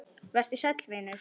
Vertu sæll vinur.